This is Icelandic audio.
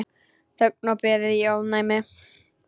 Þögn og beðið í ofvæni.